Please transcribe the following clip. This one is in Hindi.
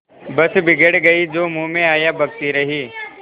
बस बिगड़ गयीं जो मुँह में आया बकती रहीं